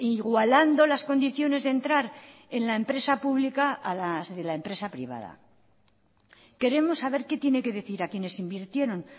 igualando las condiciones de entrar en la empresa pública a las de la empresa privada queremos saber qué tiene que decir a quienes invirtieron